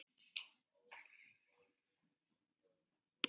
Hverjir byrja leikinn?